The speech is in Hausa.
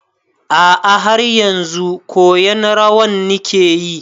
A'a, haryanzu koyan rawan nike yi.